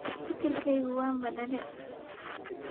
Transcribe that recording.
Fikirgegu wan badale.